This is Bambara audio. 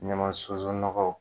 Ɲama sunzun nɔgɔ.